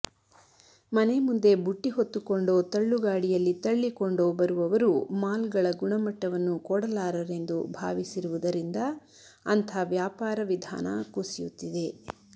ಮನೆ ಮುಂದೆ ಬುಟ್ಟಿ ಹೊತ್ತುಕೊಂಡೋ ತಳ್ಳುಗಾಡಿಯಲ್ಲಿ ತಳ್ಳಿಕೊಂಡೋ ಬರುವವರು ಮಾಲ್ಗಳ ಗುಣಮಟ್ಟವನ್ನು ಕೊಡಲಾರರೆಂದು ಭಾವಿಸಿರುವುದರಿಂದ ಅಂಥ ವ್ಯಾಪಾರ ವಿಧಾನ ಕುಸಿಯುತ್ತಿದೆ